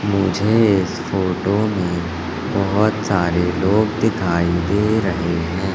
मुझे इस फोटो मे बहोत सारे लोग दिखाई दे रहे है।